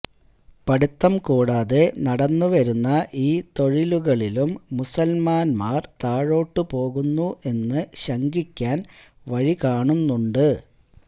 പഠിത്തംകൂടാതെ നടന്നുവരുന്ന ഈ തൊഴിലുകളിലും മുസല്മാന്മാര് താഴോട്ട് പോകുന്നു എന്നു ശങ്കിക്കാന് വഴികാണുന്നുണ്ട്